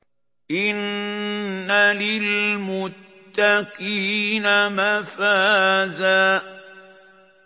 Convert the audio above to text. إِنَّ لِلْمُتَّقِينَ مَفَازًا